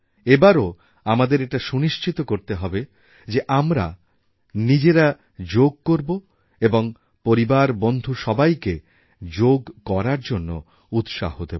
এবারও আমাদের এটা সুনিশ্চিত করতে হবে যে আমরা নিজেরা যোগ করব এবং পরিবারবন্ধু সবাইকে যোগ করার জন্য উৎসাহ দেব